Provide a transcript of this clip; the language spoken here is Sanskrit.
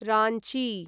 राञ्ची